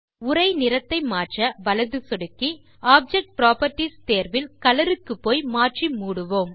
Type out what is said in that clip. உரை நிறத்தை மாற்ற வலது சொடுக்கி ஆப்ஜெக்ட் புராப்பர்ட்டீஸ் தேர்வில் கலர் க்கு போய் மாற்றி மூடுவோம்